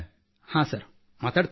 ಹಾಂ ಸರ್ ಮಾತಾಡುತ್ತೇನೆ